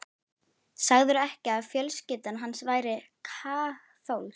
Sagðirðu ekki að fjölskyldan hans væri kaþólsk?